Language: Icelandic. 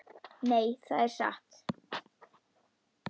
Nei, það er satt.